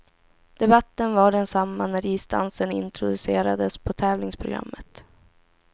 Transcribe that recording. Debatten var densamma när isdansen introducerades på tävlingsprogrammet.